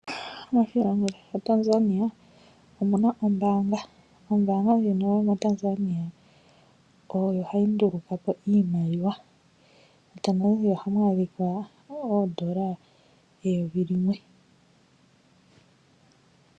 Moshilongo shaTanzania omu na oombanga. Ombanga ndjino yomoTanzania oyo hayi ndulukapo iimaliwa nohamu adhika oondola eyovi limwe.